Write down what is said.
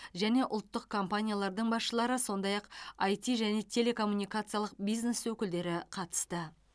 және ұлттық компаниялардың басшылары сондай ақ айти және телекоммуникациялық бизнес өкілдері қатысты